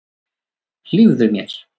Hlífðu mér.